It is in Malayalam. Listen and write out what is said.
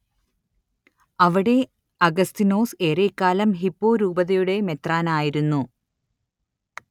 അവിടെ അഗസ്തീനോസ് ഏറെക്കാലം ഹിപ്പോ രൂപതയുടെ മെത്രാനായിരിരുന്നു